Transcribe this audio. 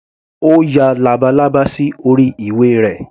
Ó ya labalábá sí orí ìwé rẹ̀.